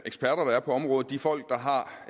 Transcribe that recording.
eksperter der er på området af de folk